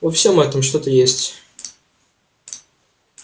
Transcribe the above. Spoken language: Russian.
во всём этом что-то есть